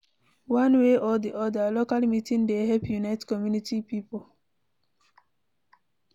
One way or di oda, local meeting dey help unite community pipo